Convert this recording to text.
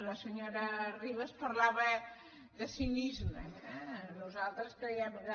la senyora ribas parlava de cinisme nosaltres creiem que